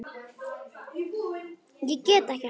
Ég get ekki hætt.